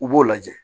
U b'o lajɛ